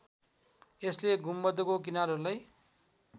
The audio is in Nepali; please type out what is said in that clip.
यसले गुम्बदको किनारहरूलाई